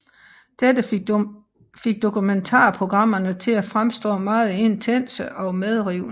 Dette fik dokumentar programmerne til at fremstå meget intense og medrivende